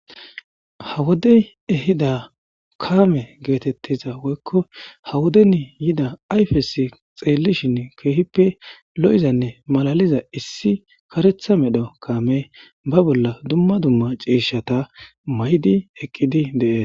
hawodey ehida kaame geetettiza woykko hawoden yida ayfesi xeellishin keehippe lo7izanne malaliza issi karetha medho kaame ba bolla dumma dumma cieshata may'di eqqidi de'es